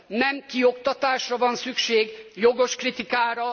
Nem kioktatásra van szükség, hanem jogos kritikára.